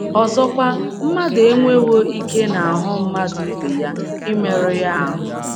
Ọzọkwa, ‘ mmadụ enwewo ike n’ahụ́ mmadụ ibe ya imerụ ya ahụ́ '.